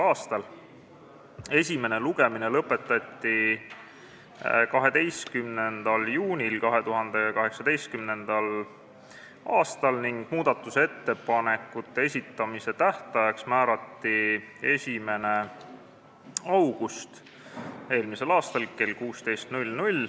a. Esimene lugemine lõpetati 12. juunil ning muudatusettepanekute esitamise tähtajaks määrati 1. august kell 16.